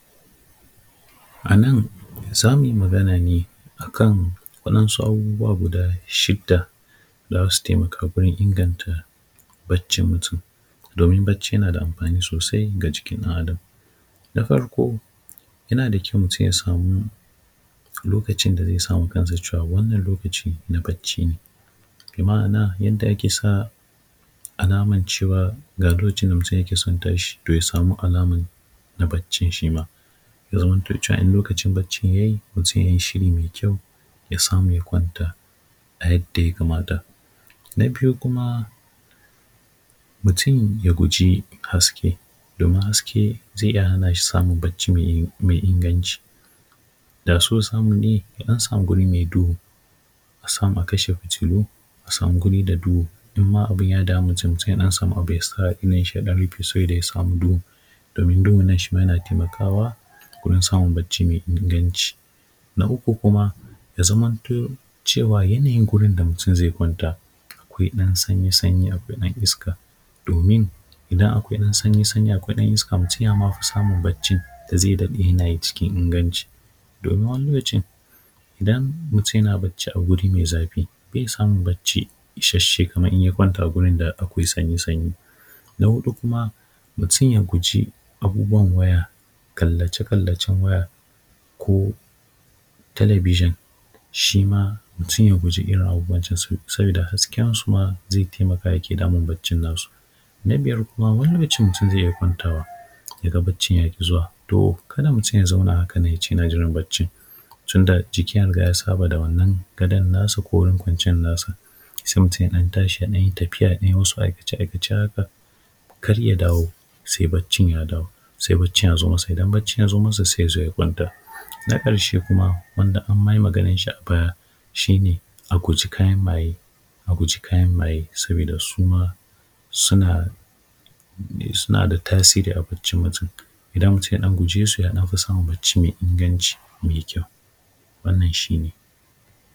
A nan zamu yi magana ne akan waɗansu abubuwa guda shida da zasu taimaka gurin inganta baccin mutum domin bacci yana da amfani sosai ga jikin ɗan Adam, da farko yana da kyau mutum ya samu lokacin da zai sawa kansa wannan lokacin na bacci ne, bi ma’ana yadda ake sa alamar cewa ga lokacin da mutum yake son tashi to ya samu alamar na baccin shi ma, ya zamanto cewa idan lokacin baccin ya yi mutum ya yi shi ne mai kyau, ya samu ya kwanta a yadda ya kamata, na biyu kuma mutum ya guji haske domin haske zai iya hana shi samun bacci mai inganci, da so samu ne ya ɗan samu guri mai duhu, a samu a kasha fitilu a samu guri da duhu duk ma abin yana damun mutum, mutum ya dan samu abu ya sa a idon shi ya ɗan rufe saboda ya samu duhu domin duhun nan shima yana taimakawa wurin samun bacci mai inganci, na uku kuma ya zamanto cewa yanayin gurin da mutum zai kwanta akwai ɗan sanyi-sanyi akwai ɗan iska domin idan akwai ɗan sanyi-sanyi akwai ɗan iska mutum yafi samun bacci da zai daɗe yana yi cikin inganci, domin wani lokacin idan mutum yana bacci a guri mai zafi bai samu bacci isasshe kamar idan ya kwanta a gurin da akwai sanyi-sanyi, na hudu kuma mutum ya guji abubuwan waya kallace-kallacen waya ko talabijin shi ma mutum ya guji irin abubuwan can saboda hasken su ma zai taimaka yake damun baccin na su, na biyar kuma wani lokacin mutum zai kwanta yaga baccin yaki zuwa, to kada mutum ya zauna haka nan yace yana jiran baccin tunda jikin ya rika ya saba da wannan gadon nasa ko gurin kwanciyar nasa sai mutum ya ɗan tashi ya ɗan yi tafiya biyu su aikace-aikace haka kar ya dawo sai baccin ya dawo sai baccin ya zo masa idan baccin ya zo masa sai yazo ya kwanta, na karshe kuma wanda ma anyi maganan shi a baya shi ne a guji kayan maye a guji kayan maye saboda shi ma suna da tasiri a baccin mutum, idan mutum ya dan guje su yafi samun bacci mai inganci mai kyau, wannan shi ne.